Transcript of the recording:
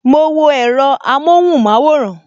Mo wo èro amohunmaworan